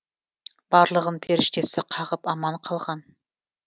барлығын періштесі қағып аман қалған